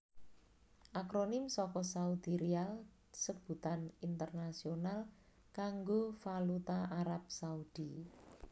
Akronim saka Saudi Riyal sebutan internasional kanggo valuta Arab Saudi